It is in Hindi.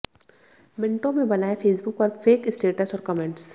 मिनटों में बनाएं फेसबुक पर फेक स्टेटस और कमेंट्स